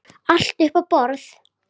Allt upp á borðið?